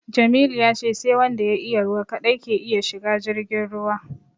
Jamilu ya ce sai wanda ya iya ruwa kaɗai ke iya shiga jirgin ruwa